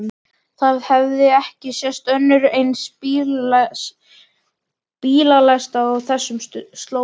Það hafði ekki sést önnur eins bílalest á þessum slóðum.